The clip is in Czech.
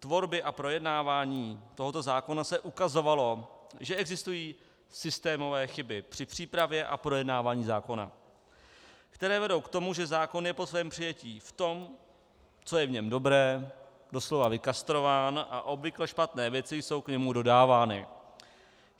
tvorby a projednávání tohoto zákona se ukazovalo, že existují systémové chyby při přípravě a projednávání zákona, které vedou k tomu, že zákon je po svém přijetí v tom, co je v něm dobré, doslova vykastrován a obvykle špatné věci jsou k němu dodávány.